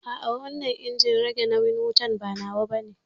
A'a wannan injin rage nauyin wutan ba nawa bane